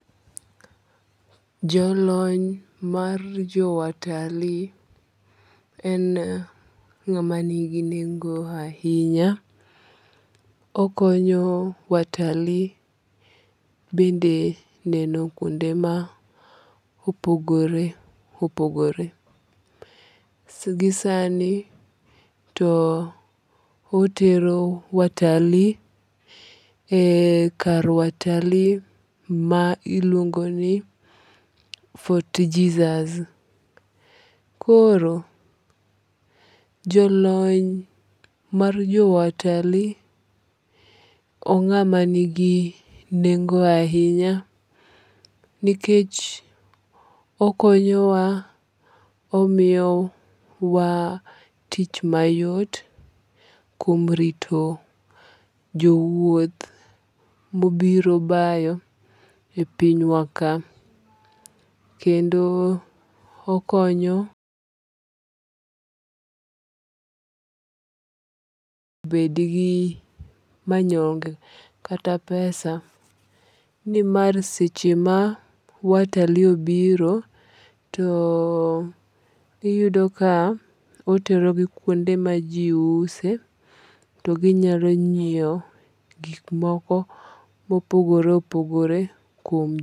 Jo lony mar jo watalii en ng'amanigi nengo ahinya. Okonyo watalii bende neno kuonde ma opogore opogore. Gi sani, to otero watalii e kar watalii ma iluongo ni Fort Jesus. Koro jolony mar jo watalii ong'ama ni gi nengo ahinya nikech okonyo wa omiyo wa tich mayot kuom rito jowuoth mobiro bayo e piny wa ka. Kendo okonyo [pause} bed gi manyonge kata pesa. Nimar seche ma watalii obiro to iyudo ka otero gi kuonde ma ji use to ginyalo nyiewo gik moko mopogore opogore kuom.